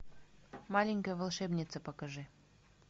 маленькая волшебница покажи